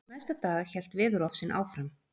Næsta dag hélt veðurofsinn áfram.